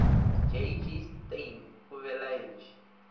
j g steyn o belaetše